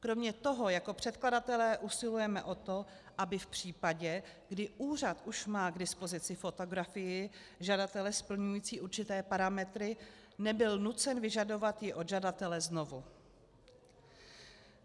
Kromě toho jako předkladatelé usilujeme o to, aby v případě, kdy úřad už má k dispozici fotografii žadatele splňující určité parametry, nebyl nucen vyžadovat ji od žadatele znovu.